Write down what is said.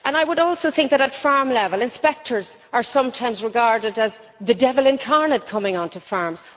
I also think that, at farm level, inspectors are sometimes regarded as the devil incarnate coming on to farms.